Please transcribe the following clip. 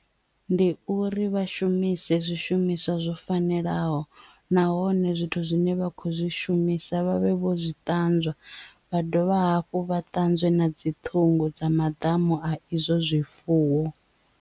Ndi uri vha shumise zwishumiswa zwo fanelaho nahone zwithu zwine vha khou zwi shumisa vha vhe vho zwi ṱanzwa vha dovha hafhu vha ṱanzwe na dzi ṱhungu dza madamu a izwo zwifuwo.